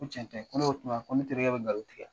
Ko tiɲɛ tɛ. Ko n'o don o tuma ko ne terikɛ bɛ ngalon tigɛ.